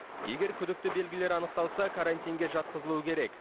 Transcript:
егер күдікті белгілер анықталса карантинге жатқызылу керек